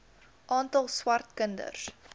aantal swart kinders